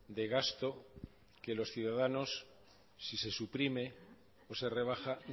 de gasto que los ciudadanos si se suprime o se rebaja